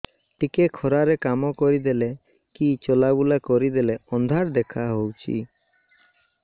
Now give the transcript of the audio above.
ଟିକେ ଖରା ରେ କାମ କରିଦେଲେ କି ଚଲବୁଲା କରିଦେଲେ ଅନ୍ଧାର ଦେଖା ହଉଚି